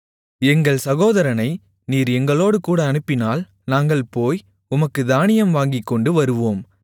எங்கள் சகோதரனை நீர் எங்களோடுகூட அனுப்பினால் நாங்கள் போய் உமக்குத் தானியம் வாங்கிக்கொண்டு வருவோம்